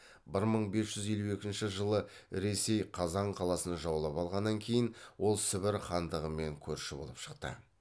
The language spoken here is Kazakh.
бір мың бес жүз елу екінші жылы ресей қазан қаласын жаулап алғаннан кейін ол сібір хандығымен көрші болып шықты